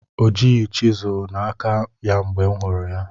O jighị chiselu na aka ya mgbe m hụrụ ya